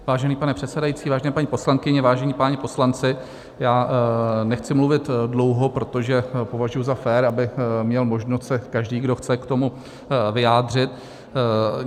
Vážený pane předsedající, vážené paní poslankyně, vážení páni poslanci, já nechci mluvit dlouho, protože považuji za fér, aby měl možnost se každý, kdo chce, k tomu vyjádřit.